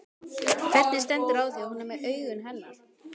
Hvernig stendur á því að hún er með augun hennar?